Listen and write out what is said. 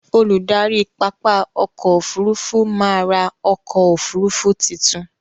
Olùdarí pápá ọkò ọfurufú má á ra ọkò òfurufú titun.